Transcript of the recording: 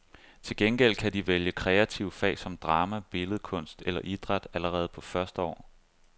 Til gengæld kan de vælge kreative fag som drama, billedkunst eller idræt allerede på første år.